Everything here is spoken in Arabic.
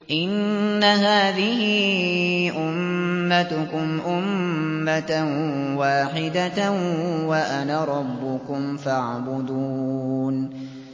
إِنَّ هَٰذِهِ أُمَّتُكُمْ أُمَّةً وَاحِدَةً وَأَنَا رَبُّكُمْ فَاعْبُدُونِ